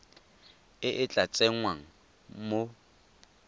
e e tla tsengwang mo